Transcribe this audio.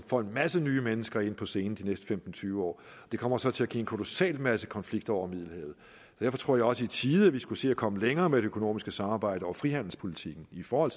får en masse nye mennesker ind på scenen de næste femten til tyve år det kommer så til at give en kolossal masse konflikter over middelhavet derfor tror jeg også i tide skulle se at komme længere med det økonomiske samarbejde og frihandelspolitikken i forhold